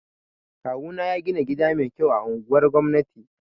Kawu na ya gina gida mai kyau a anguwar gwamnati